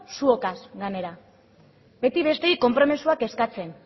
zuokaz gainera beti besteei konpromisoak eskatzen